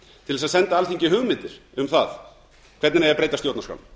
til þess að senda alþingi hugmyndir um það hvernig eigi að breyta stjórnarskrá